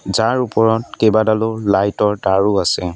যাৰ ওপৰত কেইবাডালো লাইট ৰ তাঁৰো আছে।